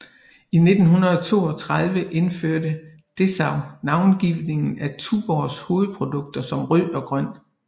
I 1932 indførte Dessau navngivning af Tuborgs hovedprodukter som Rød og Grøn